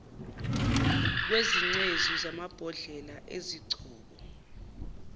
kwezingcezu zamabhodlela ezigcobo